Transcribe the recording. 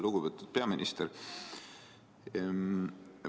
Lugupeetud peaminister!